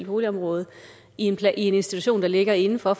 boligområde i en institution der ligger indenfor